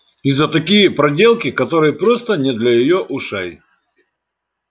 и за такие проделки которые просто не для её ушей